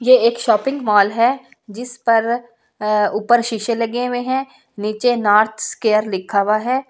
ये एक shopping mall है जिस पर ऊपर अ शीशे लगे हुए हैं नीचे नॉर्थ स्केयर लिखा हुआ है।